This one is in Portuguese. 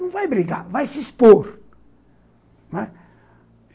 Não vai brigar, vai se expor.